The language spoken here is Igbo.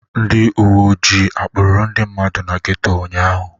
Ndị uwe ojii akpụrụ ndị mmadụ na geto ụnyaahụ?